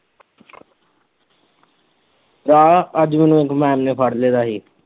ਭਰਾ ਅੱਜ ਮੈਨੂੰ ਇੱਕ ਮੈਮ ਨੇ ਫੜ ਲਿੱਤਾ ਸੀ।